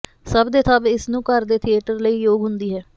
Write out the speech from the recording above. ਸਭ ਦੇ ਸਭ ਇਸ ਨੂੰ ਘਰ ਦੇ ਥੀਏਟਰ ਲਈ ਯੋਗ ਹੁੰਦੀ ਹੈ